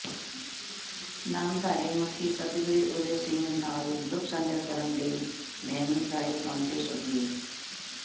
ਨਾਮਧਾਰੀ ਮੁਖੀ ਸਤਿਗੁਰੂ ਉਦੇ ਸਿੰਘ ਨਾਲ ਦੁੱਖ ਸਾਂਝਾ ਕਰਨ ਲਈ ਭੈਣੀ ਸਾਹਿਬ ਪੁੱਜੇ ਸੁਖਬੀਰ